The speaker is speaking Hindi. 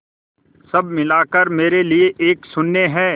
सब मिलाकर मेरे लिए एक शून्य है